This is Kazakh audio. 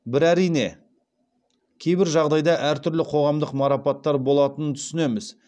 бір әрине кейбір жағдайда әртүрлі қоғамдық марапаттар болатынын түсінеміз